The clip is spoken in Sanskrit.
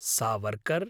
सावर्कर्